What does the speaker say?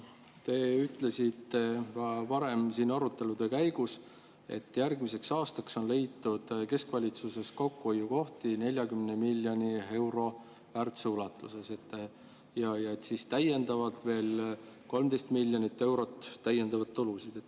Te ütlesite siin arutelude käigus, et järgmiseks aastaks on keskvalitsuses leitud kokkuhoiukohti 40 miljoni euro ulatuses ja veel 13 miljonit eurot täiendavaid tulusid.